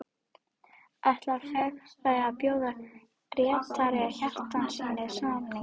Ætlar félagið að bjóða Grétari Hjartarsyni samning?